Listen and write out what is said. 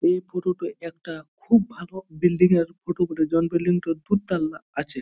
এই ফটো -টা একটা খুব ভালো বিল্ডিং -এর ফটো বটে জন বিল্ডিং -টা দুতলা আছে।